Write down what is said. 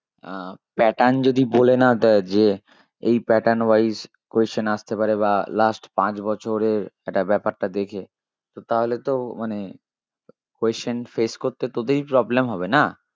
আহ pattern যদি বলে না দেই যে এই pattern wise question আসতে পারে বা last পাাঁচ বছরের একটা ব্যাপারটা দেখে তো তাহলে তো মানে question face করতে তোদেরই problem হবে না